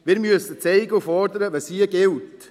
Wir müssen zeigen und fordern, was hier gilt.